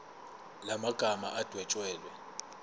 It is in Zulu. la magama adwetshelwe